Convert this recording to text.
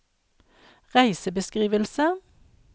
reisebeskrivelse